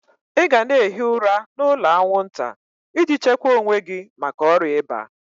Ị gana ehi ụra n'ụlọ aṅwụnta iji chekwa owe gi maka ọrịa iba!